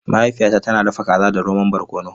Mahaifiyata tana dafa kaza da romon barkono.